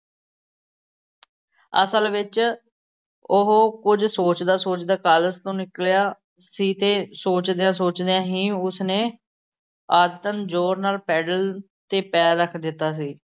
ਅਸਲ ਵਿੱਚ ਉਹ ਕੁੱਝ ਸੋਚਦਾ ਸੋਚਦਾ ਕਾਲਜ ਤੋਂ ਨਿਕਲਿਆ ਸੀ ਅਤੇ ਸੋਚਦਿਆਂ ਸੋਚਦਿਆਂ ਹੀ ਉਸਨੇ ਆਦਤਣ ਜ਼ੋਰ ਨਾਲ ਪੈਡਲ ਤੇ ਪੈਰ ਰੱਖ ਦਿੱਤਾ ਸੀ।